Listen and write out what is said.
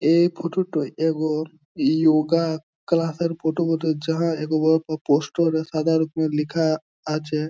এই ফোটো টায় এগো যোগা ক্লাসের ফোটো বটে যাহা পোস্টার সাদা রংয়ের লিখা আছে।